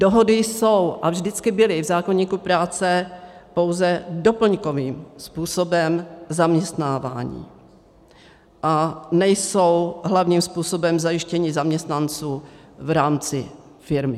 Dohody jsou a vždycky byly v zákoníku práce pouze doplňkovým způsobem zaměstnávání a nejsou hlavním způsobem zajištění zaměstnanců v rámci firmy.